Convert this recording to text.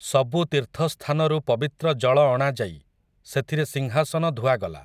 ସବୁ ତୀର୍ଥସ୍ଥାନରୁ ପବିତ୍ର ଜଳ ଅଣାଯାଇ, ସେଥିରେ ସିଂହାସନ ଧୁଆଗଲା ।